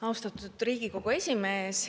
Austatud Riigikogu esimees!